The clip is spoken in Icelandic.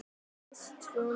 Kristrún